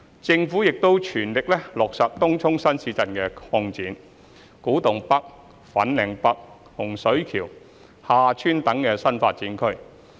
政府亦正全力落實東涌新市鎮擴展、古洞北/粉嶺北、洪水橋/廈村等新發展區。